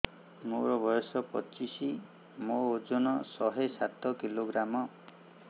ମୋର ବୟସ ପଚିଶି ମୋର ଓଜନ ଶହେ ସାତ କିଲୋଗ୍ରାମ